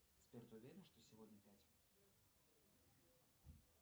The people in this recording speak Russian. сбер ты уверен что сегодня пять